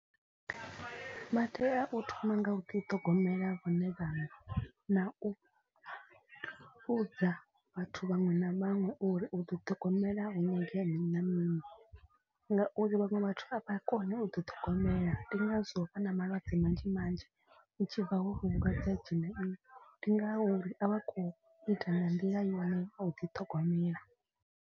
Vha tea u thoma nga u ḓi ṱhogomela vhone vhaṋe na u vhudza vhathu vhaṅwe na vhaṅwe uri u ḓi ṱhogomela hu nyangea mini na mini. Ngauri vhaṅwe vhathu a vha koni u ḓi ṱhogomela ndi ngazwo vha na malwadze manzhi manzhi. Hu tshi bva ho vhu vhulwadze ha dzhena vhuṅwe ndi nga uri a vha khou ita nga nḓila yone u ḓiṱhogomela.